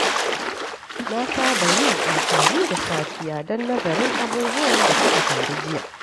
Na saba yin amfani da safiya don nazarin abubuwan da suka faru jiya.